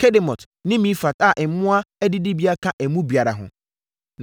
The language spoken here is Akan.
Kedemot ne Mefaat a mmoa adidibea ka emu biara ho.